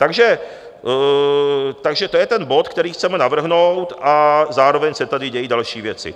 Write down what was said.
Takže to je ten bod, který chceme navrhnout, a zároveň se tady dějí další věci.